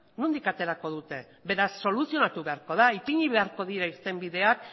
nondik aterako dute beraz soluzionatu beharko da ipini beharko dira irtenbideak